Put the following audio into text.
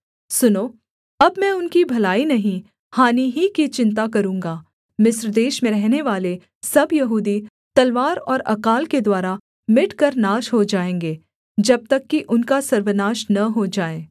सुनो अब मैं उनकी भलाई नहीं हानि ही की चिन्ता करूँगा मिस्र देश में रहनेवाले सब यहूदी तलवार और अकाल के द्वारा मिटकर नाश हो जाएँगे जब तक कि उनका सर्वनाश न हो जाए